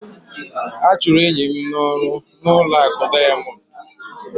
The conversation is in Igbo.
A chụrụ enyi m n'ọrụ n'ụlọ akụ Diamond